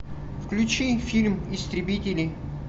включи фильм истребители